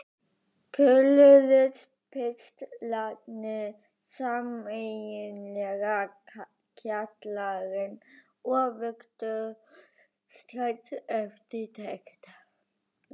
Kölluðust pistlarnir sameiginlega Kjallarinn og vöktu strax eftirtekt.